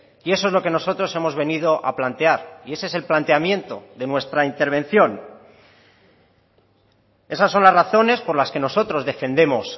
y eso es lo que nosotros hemos venido a plantear y ese es el planteamiento de nuestra intervención esas son las razones por las que nosotros defendemos